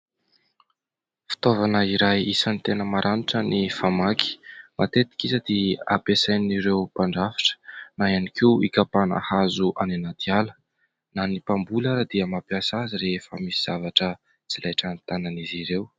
Fitaovana iray isany tena maranitra ny famaky. Matetika izy dia ampiasain'ireo mpandrafitra na ihany koa hikapàna hazo any anaty ala. Na ny mpamboly ary dia mampiasa azy rehefa misy zavatra tsy laitran'ny tanan'izy ireo.